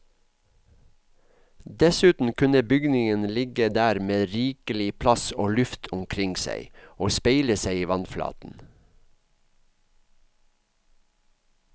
Dessuten kunne bygningen ligge der med rikelig plass og luft omkring seg, og speile seg i vannflaten.